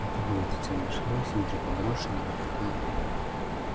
это был детёныш рыси уже подросший но не такой